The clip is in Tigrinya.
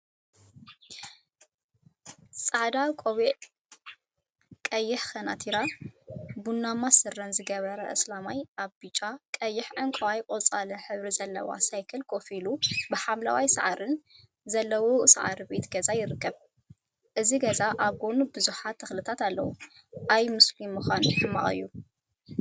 ሓደ ፃዕዳ ቆቢዕ፣ ቀይሕ ከናቲራን ቡናማ ስረን ዝገበረ አስላማይ አብ ብጫ፣ ቀይሕ፣ ዕንቋይን ቆፃልን ሕብሪ ዘለዋ ሳይክል ኮፍ ኢሉ ብሓምለዋይ ሳዕሪን ዘለዎ ሳዕሪ ቤት ገዛን ይርከብ፡፡ እዚ ገዛ አብ ጎኑ ቡዙሓት ተክልታት አለው፡፡ አይ ሙስሊም ምኳን ሕማቅ እዩ፡፡